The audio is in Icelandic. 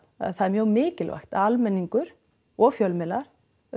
er mjög mikilvægt að almenningur og fjölmiðlar